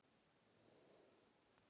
og hvítur vann um síðir.